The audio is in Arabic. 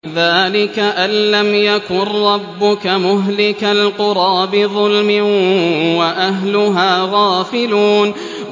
ذَٰلِكَ أَن لَّمْ يَكُن رَّبُّكَ مُهْلِكَ الْقُرَىٰ بِظُلْمٍ وَأَهْلُهَا غَافِلُونَ